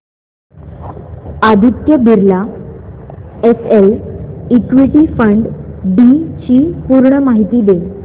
Aditya Birla SL equity fund D ची पूर्ण माहिती दे